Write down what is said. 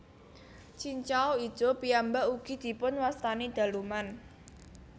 Cincau ijo piyambak ugi dipun wastani daluman